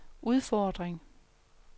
udfordring